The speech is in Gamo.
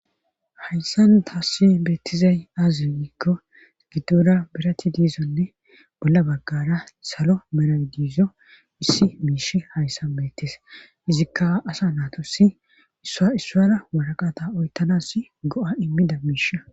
hayssan taassi beettizay aaziyogikko giddora birati diizonne bolla baggara salo meradizo issi miish hayssan beettis izikka asa naatossi issa issuara waraqata oytanass go7a immida miish